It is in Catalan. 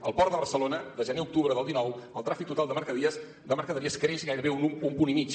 al port de barcelona de gener a octubre del dinou el tràfic total de mercaderies creix gairebé un punt i mig